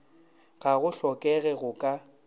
ga go hlokege go ka